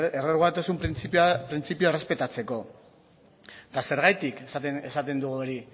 errugabetasun printzipioa errespetatzeko eta zergatik esaten dugu hori